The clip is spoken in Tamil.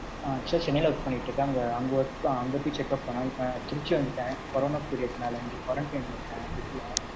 ஆ actual ஆ சென்னையில work பண்ணிட்டு இருக்கேன். அங்க அங்க work தான் அங்க போய் checkup பண்ணேன். இப்ப trichy வந்துட்டேன். corona period னால இங்க quarantine ல இருக்கன் வீட்டுல.